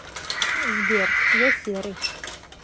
сбер я серый